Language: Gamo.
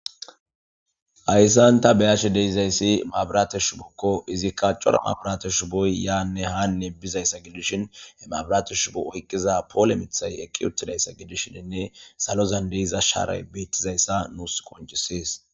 hayssanta beyashe deizayssi maabirateshu bokko izikka cora mabirateshu boy yaanne haanne bizayssa gidishin he maabirateshu bo ohqqiza poole mithay eqqi uttidayssa gidishiinne salozan deiza shaare beettizayssa nuus qonchisees